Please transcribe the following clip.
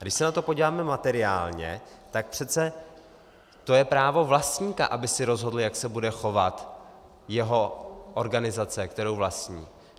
A když se na to podíváme materiálně, tak přece to je právo vlastníka, aby si rozhodl, jak se bude chovat jeho organizace, kterou vlastní.